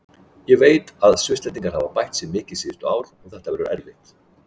Ég veit að Svisslendingar hafa bætt sig mikið síðustu ár og þetta verður erfitt.